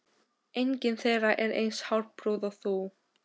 engin þeirra er eins hárprúð og þú.